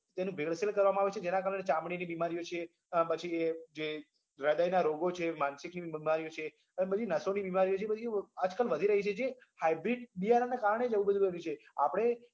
તેની ભેળસેળ કરવામાં આવે છે જેના કારણે ચામડીની બીમારીઓ છે પછી જે હૃદયના રોગો છે, માનસિકની બીમારીઓ છે, એ બધી નસોની બીમારીઓ છે એ બધી આજકાલ વધી રહી છે જે hybrid બિયારણના કારણે જ એવું બધું બન્યું છે આપડે